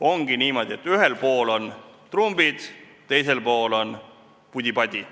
Ongi niimoodi, et ühel pool on trumbid, teisel pool on pudi-padi.